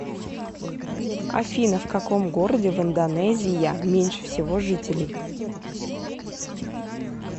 афина в каком городе в индонезия меньше всего жителей